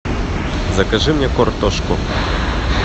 закажи мне картошку